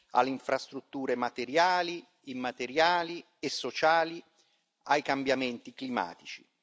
alle infrastrutture materiali, immateriali e sociali e ai cambiamenti climatici.